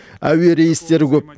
әуе рейстері көп